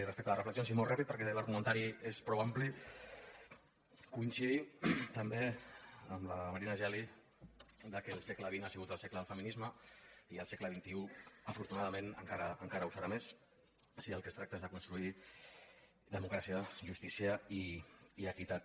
respecte a les reflexions i molt ràpidament perquè l’argumentari és prou ampli coincidim també amb la marina geli que el segle xx ha sigut el segle del feminisme i el segle xxi afortunadament encara ho serà més si del que es tracta és de construir democràcia justícia i equitat